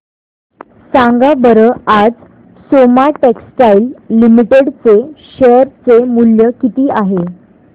सांगा बरं आज सोमा टेक्सटाइल लिमिटेड चे शेअर चे मूल्य किती आहे